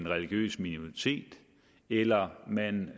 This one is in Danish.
religiøs minoritet eller om man